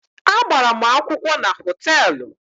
A gbara mụ akwụkwọ na họtelụ.